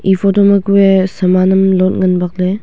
e foto ma kue saman lot ngan bak le.